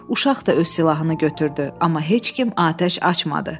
Uşaq da öz silahını götürdü, amma heç kim atəş açmadı.